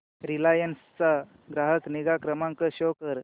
Reliance चा ग्राहक निगा क्रमांक शो कर